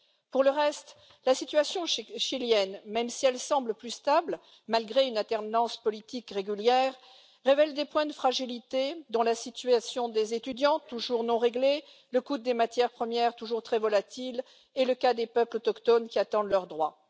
Pour le reste, la situation chilienne, même si elle semble plus stable malgré une alternance politique régulière, révèle des points de fragilité, dont la situation des étudiants, toujours non réglée, le coût des matières premières, toujours très volatil, et le cas des peuples autochtones qui attendent leurs droits.